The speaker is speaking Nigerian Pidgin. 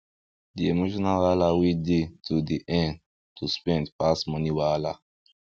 d emotional wahala wey dey to dey earn to spend pass money wahala